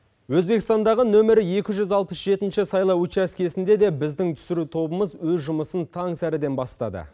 өзбекстандағы нөмірі екі жүз алпыс жетінші сайлау учаскесінде де біздің түсіру тобымыз өз жұмысын таңсәріден бастады